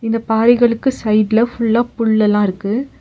இந்த பாறைகளுக்கு சைடுல ஃபுல்லா புல் எல்லா இருக்கு.